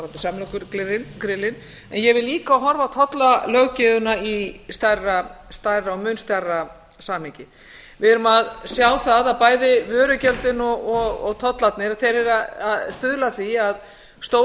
dæmi áðan varðandi samlokugrillin en ég vil líka horfa á tollalöggjöfina í stærra og mun stærra samhengi við erum að sjá það að bæði vörugjöldin og tollarnir eru að stuðla að því að stór